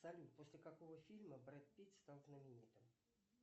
салют после какого фильма брэд питт стал знаменитым